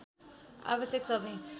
आवश्यक सबै